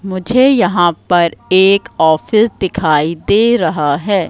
मुझे यहां पर एक ऑफिस दिखाई दे रहा है।